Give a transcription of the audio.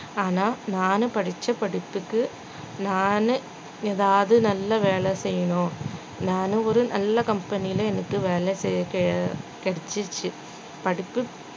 ஆனா நானு படிச்ச படிப்புக்கு நானு எதாவது நல்ல வேலை செய்யணும் நானு ஒரு நல்ல company ல எனக்கு வேலை கெ~ கெ~ கெடச்சுச்சு அடுத்து